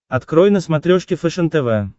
открой на смотрешке фэшен тв